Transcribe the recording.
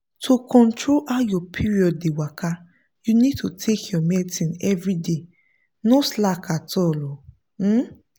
to control how your period dey waka you need to take your medicine everyday. no slack at all. um